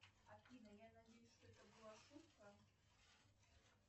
афина я надеюсь что это была шутка